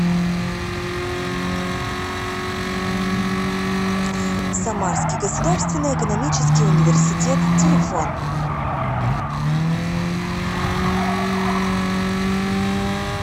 самарский государственный экономический университет телефон